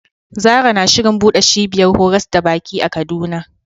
Zarah na shirin buɗe cibiyar horas da baki a Kaduna.